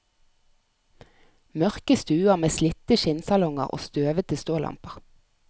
Mørke stuer med slitte skinnsalonger og støvete stålamper.